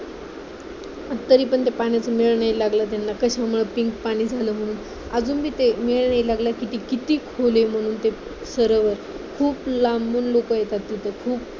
तरीपण त्या पाण्यातून मेळ नाही लागला त्यांना कशामुळं pink पाणी झालं म्हणून अजुनपण ते मेळ नाही लागला किती किती खोल आहे ते सरोवर खूप लांबून लोकं येतात तिथे खूप